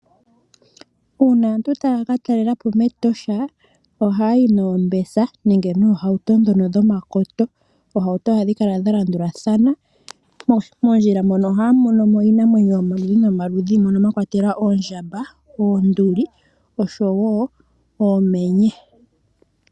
Uuna aantu taya ka talela po mEtosha ohaya yi noombesa nenge noohauto dhono dhomakoto. Oohauto ohadhi kala dha landulathana. Moondjila mono ohaya mono mo iinamwenyo yomaludhi nomaludhi, mono mwa kwatelwa oondjamba, oonduli oshowo oomenye.